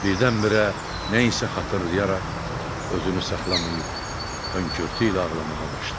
Birdən-birə nə isə xatırlayaraq özünü saxlamayıb hönkürtü ilə ağlamağa başladı.